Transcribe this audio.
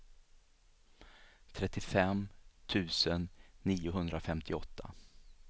trettiofem tusen niohundrafemtioåtta